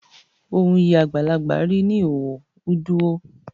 Uun yi agbalagba ri n'oiho uduo.